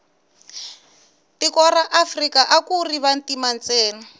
tiko ra afrika akuri vantima ntsena